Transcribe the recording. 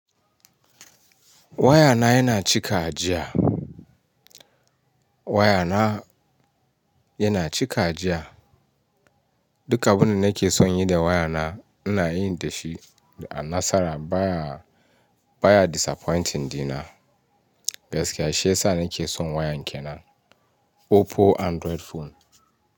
Waya na yana cika jiya. Waya na yana cika jiya. Duka abin da nake son yi da waya na, ina yin dashi a nasara baya baya disappointing dina. Gaskiya shi ya sa nake son waya nke nan Oppo Android phone.